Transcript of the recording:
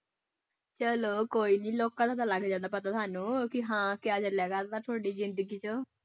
ਚਲੋ ਕੋਈ ਨੀ ਲੋਕਾਂ ਨੂੰ ਤੋਂ ਤਾਂ ਲੱਗ ਜਾਂਦਾ ਪਤਾ ਸਾਨੂੰ ਕਿ ਹਾਂ ਕਿਆ ਚੱਲਿਆ ਕਰਦਾ ਤੁਹਾਡੀ ਜ਼ਿੰਦਗੀ ਚ।